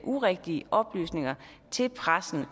urigtige oplysninger til pressen